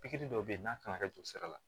Pikiri dɔw bɛ yen n'a kan ka kɛ don sira la